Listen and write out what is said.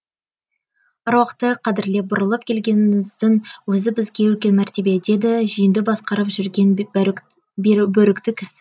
аруақты қадірлеп бұрылып келгеніңіздің өзі бізге үлкен мәртебе деді жиынды басқарып жүрген бөрікті кісі